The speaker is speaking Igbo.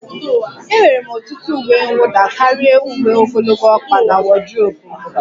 Enwere m ọtụtụ uwe mwụda karịa uwe ogologo ọkpa na wodrobu m